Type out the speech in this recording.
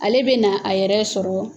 Ale bɛ na a yɛrɛ sɔrɔ